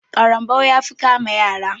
ƙarambau ya fi kama yara.